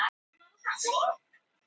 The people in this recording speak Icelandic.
Á barmi borgarastyrjaldar